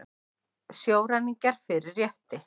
Sjóræningjar fyrir rétti